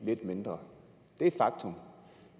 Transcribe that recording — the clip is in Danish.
lidt mindre det er et faktum